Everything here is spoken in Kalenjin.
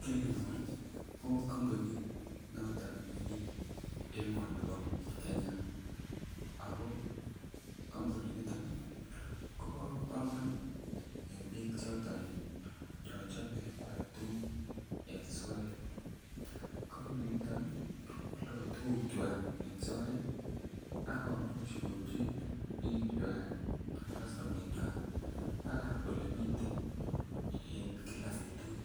Kilmall ko kompunit noton nemiten emoni bo Kenya ako kampuninito ko bo komonut en bik choton chon chome koal tuguk en soet kompuninito ko aldo tuguk en soet ak komuch ko ipchi kastomaekwak bak Ole miten en kila betut